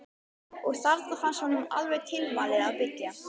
Og þarna fannst honum alveg tilvalið að byggja.